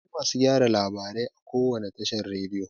Akwai masu gyara labarai a kowane tashar rediyo.